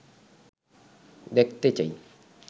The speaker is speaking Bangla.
দেখতে চাই